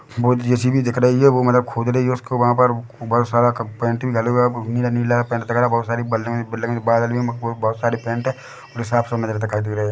JCB दिख रही है वो मतलब खोद रही है उसके वहाँ पर बहुत सारा पेंट है दिखाई दे रही है।